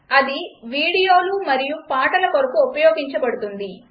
అది వీడియోలు మరియు పాటల కొరకు ఉపయెగపడుతుంది